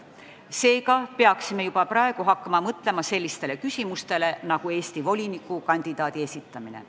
Seega peaksime juba praegu hakkama mõtlema sellistele küsimustele nagu Eesti volinikukandidaadi esitamine.